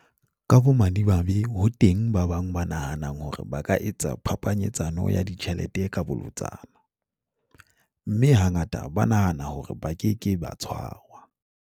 Ka bomadimabe ho teng ba bang ba nahanang hore ba ka etsa phapanyetsano ya ditjhelete ka bolotsana, mme hangata ba nahana hore ba ke ke ba tshwarwa.